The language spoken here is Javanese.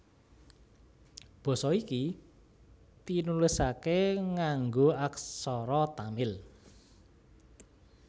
Basa iki tinulisaké nganggo aksara Tamil